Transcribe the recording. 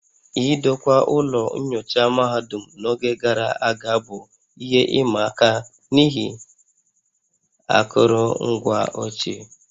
Idokwa ụlọ nyocha mahadum n'oge gara aga bụ ihe ịma aka n'ihi akụrụngwa ochie